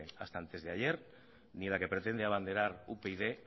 hasta antes de ayer ni la que pretende abanderar upyd